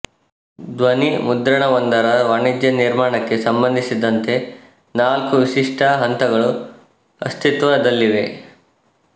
ಧ್ವನಿಮುದ್ರಣವೊಂದರ ವಾಣಿಜ್ಯ ನಿರ್ಮಾಣಕ್ಕೆ ಸಂಬಂಧಿಸಿದಂತೆ ನಾಲ್ಕು ವಿಶಿಷ್ಟ ಹಂತಗಳು ಅಸ್ತಿತ್ವದಲ್ಲಿವೆ